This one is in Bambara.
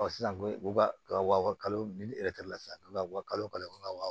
sisan ko u ka wa kalo ni la sisan u bɛ ka wa kalo kalo wa